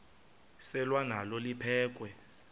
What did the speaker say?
selwa nalo liphekhwe